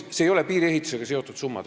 Need ei ole piiriehitusega seotud summad.